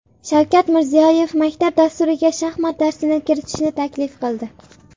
Shavkat Mirziyoyev maktab dasturiga shaxmat darsini kiritishni taklif qildi.